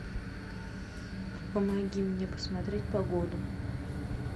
помоги мне посмотреть погоду